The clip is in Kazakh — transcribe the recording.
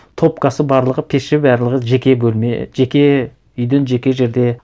топкасы барлығы пеші барлығы жеке бөлме жеке үйден жеке жерде